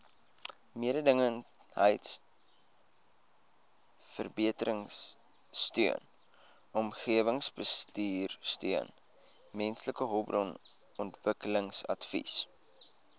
mededingendheidsverbeteringsteun omgewingsbestuursteun mensehulpbronontwikkelingsadvies